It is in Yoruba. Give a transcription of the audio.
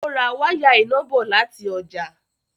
Ó ra wáyà iná bọ̀ láti ọjà.